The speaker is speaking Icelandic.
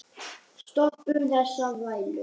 Stoppum þessa þvælu.